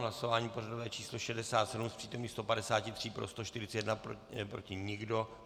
Hlasování pořadové číslo 67, z přítomných 153, pro 141, proti nikdo.